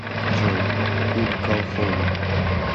джой кут калхоун